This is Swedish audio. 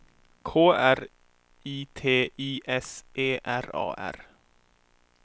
K R I T I S E R A R